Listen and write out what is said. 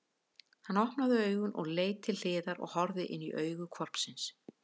Hann opnaði augun og leit til hliðar og horfði inní augu hvolpsins!